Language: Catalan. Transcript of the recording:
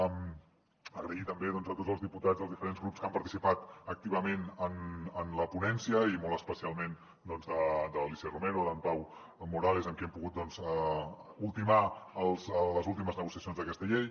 i donar les gràcies també a tots els diputats dels diferents grups que han participat activament en la ponència i molt especialment a l’alícia romero a en pau morales amb qui hem pogut ultimar les últimes negociacions d’aquesta llei